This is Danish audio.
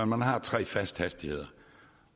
man har tre faste hastigheder